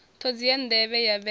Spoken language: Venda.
ṱhodzi ya nḓevhe ya vhele